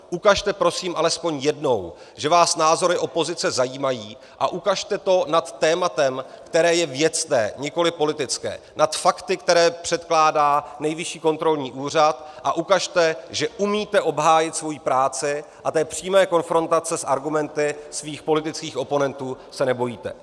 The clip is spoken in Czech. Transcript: Ukažte prosím alespoň jednou, že vás názory opozice zajímají, a ukažte to nad tématem, které je věcné, nikoliv politické, nad fakty, které předkládá Nejvyšší kontrolní úřad, a ukažte, že umíte obhájit svoji práci a té přímé konfrontace s argumenty svých politických oponentů se nebojíte.